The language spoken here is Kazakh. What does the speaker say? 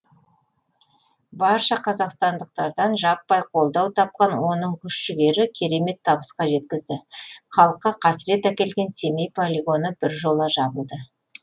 барша қазақстандықтардан жаппай қолдау тапқан оның күш жігері керемет табысқа жеткізді халыққа қасірет әкелген семей полигоны біржола жабылды